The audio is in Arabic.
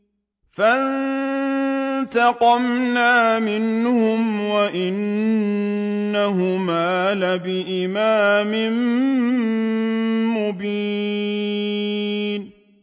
فَانتَقَمْنَا مِنْهُمْ وَإِنَّهُمَا لَبِإِمَامٍ مُّبِينٍ